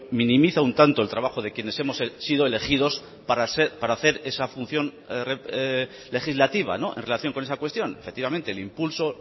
minimiza un tanto el trabajo de quienes hemos sido elegidos para hacer esa función legislativa en relación con esa cuestión efectivamente el impulso